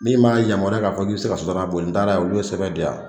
Min b'a yamaruya k'a fɔ k'i bi se ka sɔtarama boli n taara ye olu ye sɛbɛn di yan